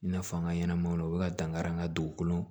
I n'a fɔ an ka ɲɛnɛmaw u bɛ ka dankari an ka dugukolo